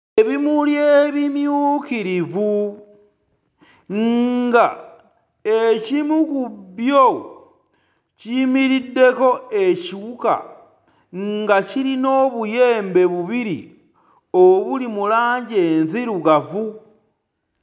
Ebimuli ebimyukirivu nga ekimu ku byo kiyimiriddeko ekiwuka nga kirina obuyembe bubiri obuli mu langi enzirugavu.